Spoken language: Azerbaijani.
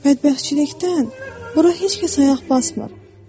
Bədbəxtçilikdən bura heç kəs ayaq basmır.